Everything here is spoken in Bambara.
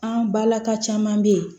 An balaka caman be yen